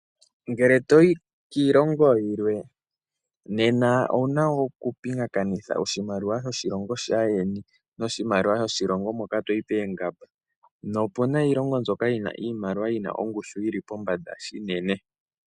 Ngele toyi kiilongo yilwe nena owuna okupingakanitha oshimaliwa sho shilongo shaandjeni noshimaliwa sho shi longo hono toyi opena iilongo yimwe yina ongushu yili pombanda unene.